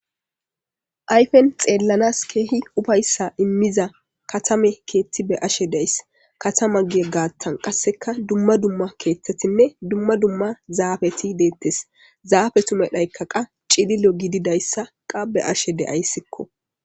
ayfen xeellanas keehi ufayssa immiza katame keetti be ashe deys katama gie gaattan qasseka dumma dumma keethtetinne dumma dumma zaafeti deettes zaafe tumedhaykka qa cililo gididayssa qabe ashe deayssikko